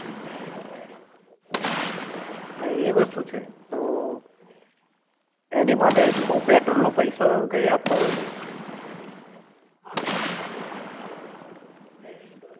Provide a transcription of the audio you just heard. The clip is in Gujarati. હા એ વસ્તુ છે તો એની માટે એ લોકો પેટ્રોલ નો પૈસો કઈ આપતા હોય છે